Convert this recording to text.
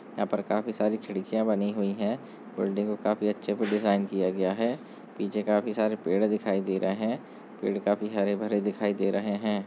यहाँ पर काफ़ी सारी खिड़किया बनी हुई है बिल्डिंग को काफी अच्छे से डिजाइन किया गया है पीछे काफ़ी सरे पेड़ दिखाई दे रहा है पेड़ काफी हरे भरे दिखाई दे रहे है।